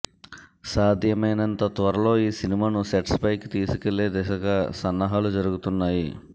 సాధ్యమైనంత త్వరలో ఈ సినిమాను సెట్స్ పైకి తీసుకెళ్లే దిశగా సన్నాహాలు జరుగుతున్నాయి